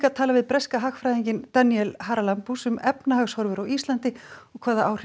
við breska hagfræðinginn Danielle Haralambous um efnahagshorfur á Íslandi og hvaða áhrif